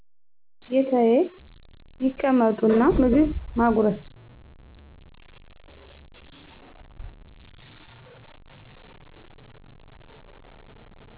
ጌታዬ ይቀመጡ እና ምግብ ማጉርስ